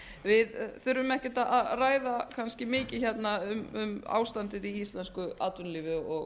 við þurfum ekkert að ræða kannski mikið hérna um ástandið í íslensku atvinnulífi og